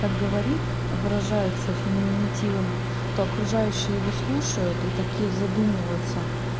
так говорит выражается феминативами то окружающие его слушают и такие задумываются